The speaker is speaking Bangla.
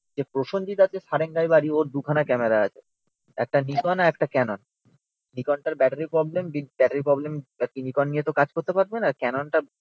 যে প্রসনজিৎ আছে সারেঙ্গায় বাড়ি ওর দুখানা ক্যামেরা আছে, একটা নিকন আর একটা ক্যানন, নিকন টার battery problem with battery problem নিয়ে তো কাজ করতে পারবেনা ক্যাননটা